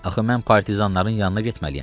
Axı mən partizanların yanına getməliyəm.